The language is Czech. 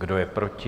Kdo je proti?